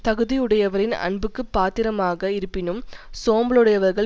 தகுதியுடையவரின் அன்புக்குப் பாத்திரமாக இருப்பினும் சோம்பலுடையவர்கள்